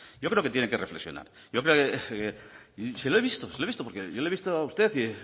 yo creo que tienen que reflexionar se lo he visto porque yo le he visto a usted